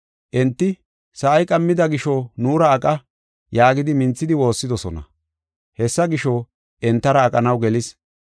Enti, “Sa7ay qammida gisho nuura aqa” yaagidi minthidi woossidosona. Hessa gisho, entara aqanaw gelis.